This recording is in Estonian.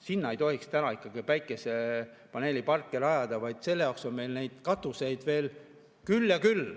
Sinna ei tohiks päikesepaneeliparke rajada, selle jaoks on meil katuseid küll ja küll.